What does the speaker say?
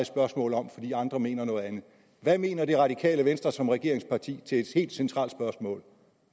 spørgsmål om fordi andre mener noget andet hvad mener det radikale venstre som regeringsparti til et helt centralt spørgsmål